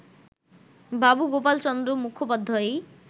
Babu Gopal Chandra মুখোপাধ্যায়ই